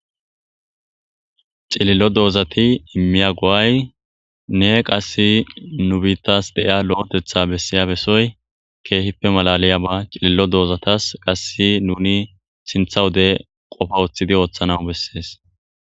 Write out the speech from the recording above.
Cililo doozati immiya go'aynne qassi nu biitas de'iya lo'eteththa bessiya besoy keehippe malaliyaba cilil'o dozatas qassi nuni sinththa wode qofa woththidi ooththanaw besees.